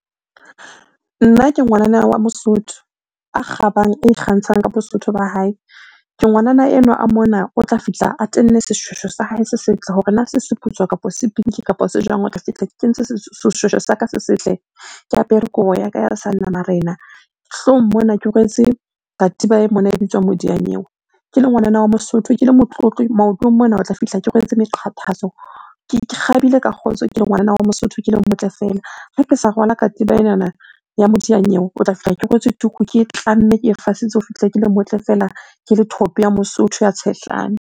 Nna ke ngwanana wa Mosotho, a kgabang, a ikgantshang ka Bosotho ba hae. Ke ngwanana enwa a mona o tla fihla a tenne seshweshwe sa hae se setle, hore na se se putswa kapa sipinki kapa se jwang, o tla fihla ke kentse seshweshwe sa ka se setle, ke apere kobo ya ka ya seanamarena, hloohong mona ke rwetse katiba e mona e bitswang modiyanyewe. Ke le ngwanana wa Mosotho ke le motlotlo maotong mona o tla fihla ke rwetse meqathatso, ke kgabile ka kgotso ke ngwana wa Mosotho ke le motle fela. Ha ke sa rwala katiba enana ya modiyanyewe, o tla fihla ke kwetswe tuku ke e tlamme, ke e fasitse, o fihle ke le motle fela ke le thope ya Mosotho ya tshehlana.